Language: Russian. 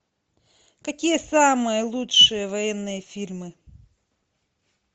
какие самые лучшие военные фильмы